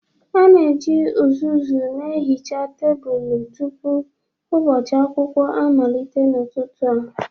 A na-eji uzuzu na-ehicha tebụl tupu ụbọchị akwụkwọ amalite n'ụtụtụ a.